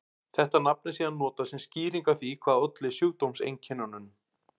Þetta nafn er síðan notað sem skýring á því hvað olli sjúkdómseinkennunum.